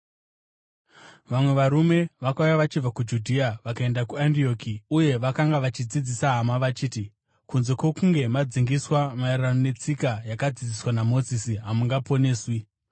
Vamwe varume vakauya vachibva kuJudhea vakaenda kuAndioki, uye vakanga vachidzidzisa hama vachiti: “Kunze kwokunge madzingiswa, maererano netsika yakadzidziswa naMozisi, hamungaponeswi.”